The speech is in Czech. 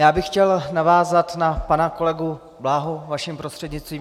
Já bych chtěl navázat na pana kolegu Bláhu vaším prostřednictvím.